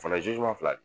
Fana fila de